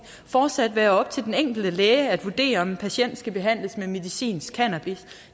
fortsat være op til den enkelte læge at vurdere om en patient skal behandles med medicinsk cannabis